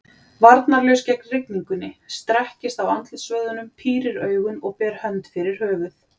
Varnarlaus gegn rigningunni, strekkist á andlitsvöðvunum, pírir augun og ber hönd fyrir höfuð.